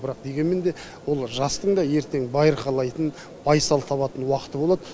бірақ дегенмен де ол жастың да ертең байырқалайтын байсал табатын уақыты болады